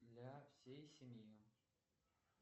для всей семьи